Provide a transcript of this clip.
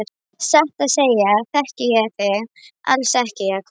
Satt að segja þekki ég þig alls ekki, Jakob.